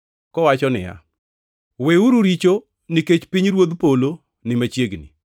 kowacho niya, “Weuru richo, nikech pinyruodh polo ni machiegni.”